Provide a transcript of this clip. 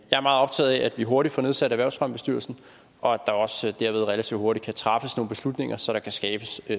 er meget optaget af at vi hurtigt får nedsat erhvervsfremmebestyrelsen og at der også derved relativt hurtigt kan træffes nogle beslutninger så der kan skabes